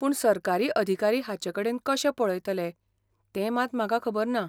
पूण सरकारी अधिकारी हाचेकडेन कशें पळयतले ते मात म्हाका खबर ना.